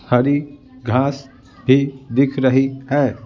हरी घास भी दिख रही है।